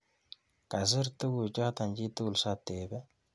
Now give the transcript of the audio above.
Kasir tukuchoto chi tugul, satebe.